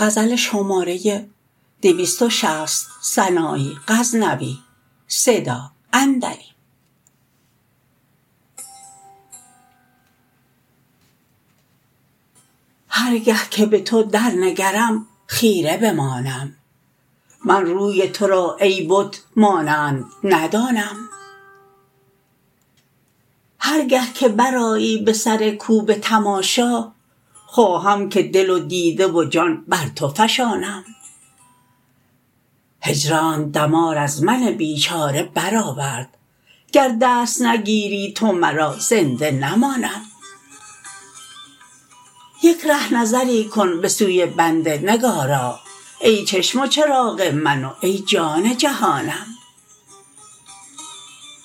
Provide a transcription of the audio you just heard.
هر گه که به تو در نگرم خیره بمانم من روی تو را ای بت مانند ندانم هر گه که برآیی به سر کو به تماشا خواهم که دل و دیده و جان بر تو فشانم هجرانت دمار از من بیچاره برآورد گر دست نگیری تو مرا زنده نمانم یک ره نظری کن به سوی بنده نگارا ای چشم و چراغ من و ای جان جهانم